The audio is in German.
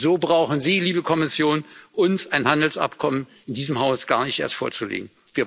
So brauchen Sie, liebe Kommission, uns ein Handelsabkommen in diesem Haus gar nicht erst vorzulegen.